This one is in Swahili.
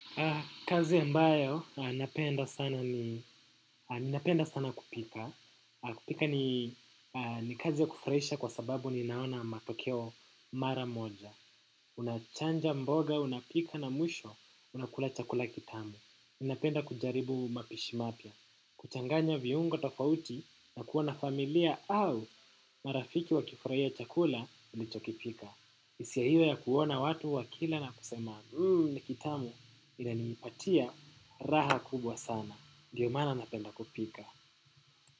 Kazi ambayo napenda sana ni ninapenda sana kupika. Kupika ni kazi ya kufurahisha kwa sababu ninaona matokeo mara moja. Unachanja mboga, unapika na mwisho, unakula chakula kitamu. Ninapenda kujaribu mapishi mpya. Kuchanganya viungo tofauti na kuona familia au marafiki wakifurahia chakula, nilichokipika hisia hiyo ya kuona watu wa kila na kusema ni kitamu inanipatia raha kubwa sana ndio maana napenda kupika.